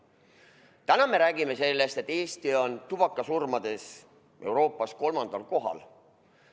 Täna me räägime sellest, et Eesti on tubakasurmade poolest Euroopas kolmandal kohal.